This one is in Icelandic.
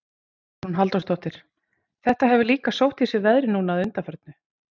Hugrún Halldórsdóttir: Þetta hefur líka sótt í sig veðrið núna að undanförnu?